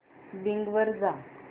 Bing वर जा